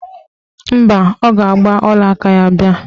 Mba, ọ ga-agba ọlaaka ya bịa